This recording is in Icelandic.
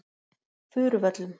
Furuvöllum